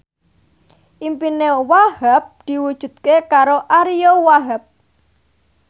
impine Wahhab diwujudke karo Ariyo Wahab